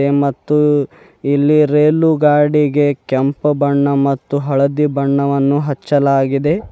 ಹೇ ಮತ್ತು ಇಲ್ಲಿ ರೇಲುಗಾಡಿಗೆ ಕೆಂಪು ಬಣ್ಣ ಮತ್ತು ಹಳದಿ ಬಣ್ಣವನ್ನು ಅಚ್ಚಲಾಗಿದೆ.